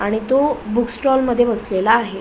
आणि तो book stall मध्ये बसलेला आहे.